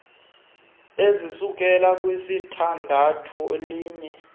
ezisukela kwisithandathu liye